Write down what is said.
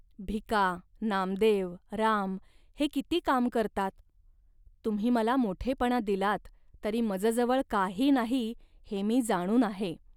भिका, नामदेव, राम हे किती काम करतात. तुम्ही मला मोठेपणा दिलात, तरी मजजवळ काही नाही, हे मी जाणून आहे